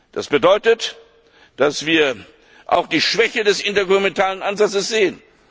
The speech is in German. Das bedeutet, dass wir auch die Schwäche des intergouvernementalen Ansatzes